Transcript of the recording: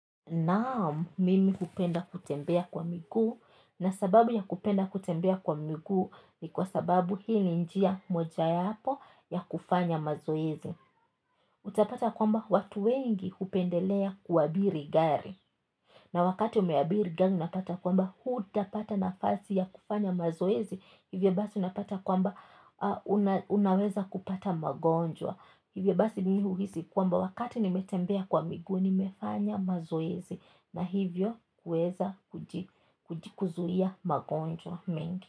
Naam, mimi hupenda kutembea kwa miguu na sababu ya kupenda kutembea kwa miguu ni kwa sababu hii ni mojayapo ya kufanya mazoezi. Utapata kwamba watu wengi kupendelea kuabiri gari. Na wakati umeabiri gari unapata kwamba hutapata nafasi ya kufanya mazoezi hivyo basi unapata kwamba unaweza kupata magonjwa. Hivyo basi mimi huhisi kwamba wakati nimetembea kwa miguu, nimefanya mazoezi na hivyo huweza kuji. Kujikuzuia magonjwa mengi.